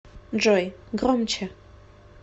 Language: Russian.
джой громче